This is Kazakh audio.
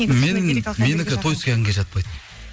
тойский әнге жатпайды